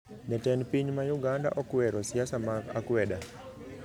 Jatend piny ma uganda okwero siasa mag akweda